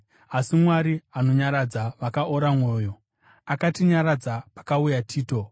Asi Mwari anonyaradza vakaora mwoyo, akatinyaradza pakauya Tito,